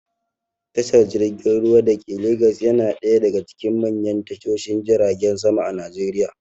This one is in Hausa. Tashar jirgin ruwa dake legas yana ɗaya daga cikin manyan tashoshin jiragen sama a najeriya